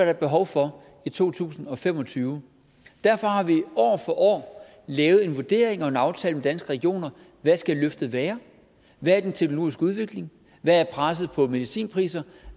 er behov for i to tusind og fem og tyve derfor har vi år for år lavet en vurdering og en aftale med danske regioner hvad skal løftet være hvad er den teknologiske udvikling hvad er presset på medicinpriser